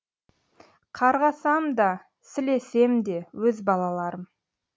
қарғасам да сілесем де өз балаларым